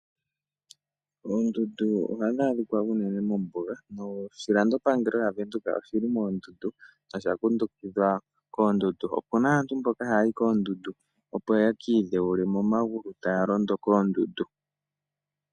Oondundu ohadhi adhika unene mombuga, noshilandopangelo sha Venduka oshi li moondundu nosha kundukidhwa koondundu. Opu na aantu mboka haya yi koondundu opo ya ka idhewule momagulu taya londo koondundu.